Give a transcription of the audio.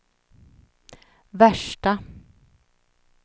värsta